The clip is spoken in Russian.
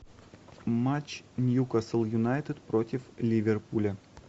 матч ньюкасл юнайтед против ливерпуля